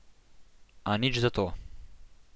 A nič zato.